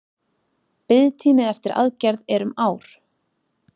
Biðtími eftir aðgerð er um ár